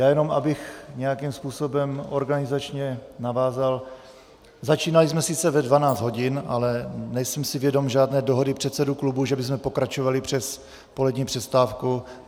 Já jenom, abych nějakým způsobem organizačně navázal - začínali jsme sice ve 12 hodin, ale nejsem si vědom žádné dohody předsedů klubů, že bychom pokračovali přes polední přestávku.